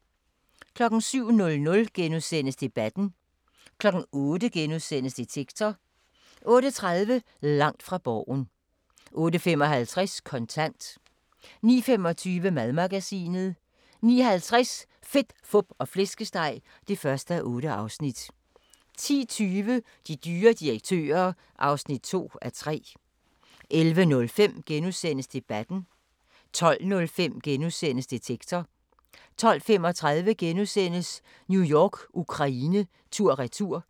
07:00: Debatten * 08:00: Detektor * 08:30: Langt fra Borgen 08:55: Kontant 09:25: Madmagasinet 09:50: Fedt, fup og flæskesteg (1:8) 10:20: De dyre direktører (2:3) 11:05: Debatten * 12:05: Detektor * 12:35: New York-Ukraine tur/retur *